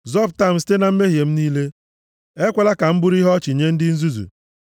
Zọpụta m site na mmehie m niile; ekwela ka m bụrụ ihe ọchị nye ndị nzuzu.